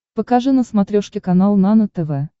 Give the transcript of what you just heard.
покажи на смотрешке канал нано тв